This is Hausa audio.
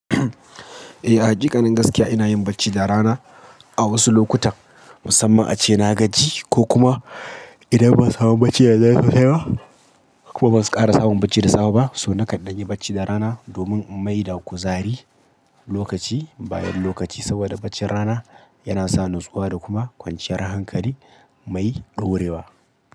Eh a haƙiƙanin gaskiya ina yin bacci da rana a wasu lokutan, musamman ace na gaji ko kuma idan ban samu bacci da dare sosai ba kuma ban ƙara samun bacci da safe ba. To na kan ɗan yi bacci da rana domin in mai da kuzari lokaci, bayan lokaci saboda baccin rana yana sa nutsuwa da kuma kwanciyar hankali mai ɗorewa.